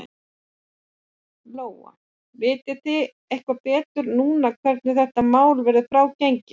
Lóa: Vitið þið eitthvað betur núna hvenær þetta mál verður frágengið?